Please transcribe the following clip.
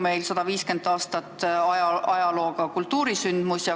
See on 150 aasta pikkuse ajalooga kultuurisündmus.